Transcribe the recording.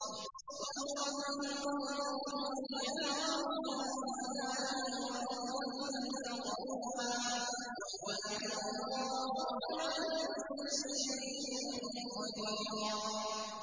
وَأَوْرَثَكُمْ أَرْضَهُمْ وَدِيَارَهُمْ وَأَمْوَالَهُمْ وَأَرْضًا لَّمْ تَطَئُوهَا ۚ وَكَانَ اللَّهُ عَلَىٰ كُلِّ شَيْءٍ قَدِيرًا